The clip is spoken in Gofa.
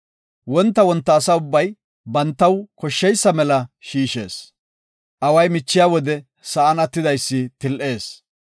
Wonta wonta asa ubbay bantaw koshsheysa mela shiishees. Away michiya wode sa7an attidaysi til7ees.